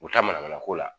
U taa manamana ko la